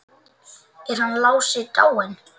Er hann Lási dáinn?